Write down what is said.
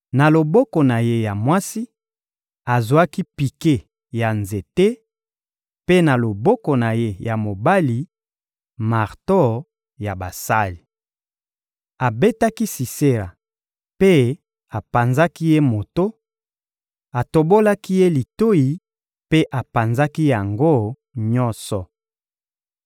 Na loboko na ye ya mwasi, azwaki pike ya nzete; mpe na loboko na ye ya mobali, marto ya basali. Abetaki Sisera mpe apanzaki ye moto, atobolaki ye litoyi mpe apanzaki yango nyonso.